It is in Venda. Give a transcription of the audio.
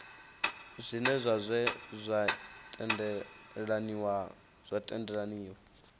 zwiṅwe zwa zwe zwa tendelaniwa